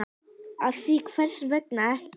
Því að hvers vegna ekki?